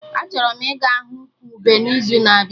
Achọrọ m ịga hụ ụkwụ ube n'izu na-abịa